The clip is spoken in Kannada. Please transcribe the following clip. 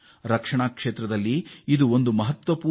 ಇದು ರಕ್ಷಣೆಯಲ್ಲಿ ಅಸಾಧಾರಣ ಸಾಮರ್ಥ್ಯದ ಗಣನೀಯ ಸಾಧನೆ